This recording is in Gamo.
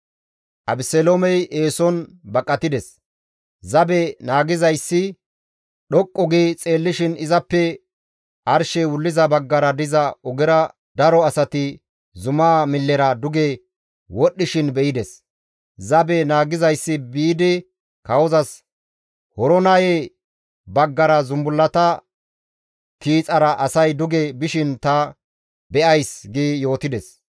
Abeseloomey eeson baqatides. Zabe naagizayssi dhoqqu gi xeellishin izappe arshey wulliza baggara diza ogera daro asati zumaa millera duge wodhdhishin be7ides. Zabe naagizayssi biidi kawozas, «Horonaye baggara zumbullata tiixara asay duge bishin ta be7ays» gi yootides.